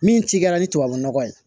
Min ci kɛra ni tubabunɔgɔ ye